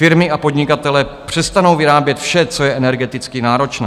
Firmy a podnikatelé přestanou vyrábět vše, co je energeticky náročné.